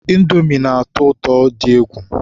Indomi na-atọ ụtọ dị egwu